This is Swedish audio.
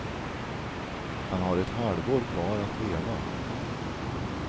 Han har ett halvår kvar att leva.